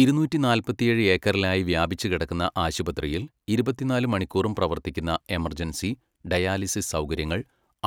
ഇരുന്നൂറ്റി നാല്പത്തിയേഴ് ഏക്കറിലായി വ്യാപിച്ചുകിടക്കുന്ന ആശുപത്രിയിൽ ഇരുപത്തിനാല് മണിക്കൂറും പ്രവർത്തിക്കുന്ന എമർജൻസി, ഡയാലിസിസ് സൗകര്യങ്ങൾ,